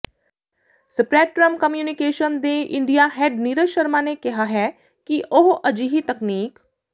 Spreadtrum communication ਦੇ India head Neeraj Sharma ਨੇ ਕਿਹਾ ਹੈ ਕਿ ਉਹ ਅਜਿਹੀ ਤਕਨੀਕ